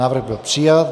Návrh byl přijat.